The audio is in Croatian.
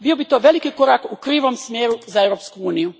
Bio bi to velik korak u krivom smjeru za Europsku uniju!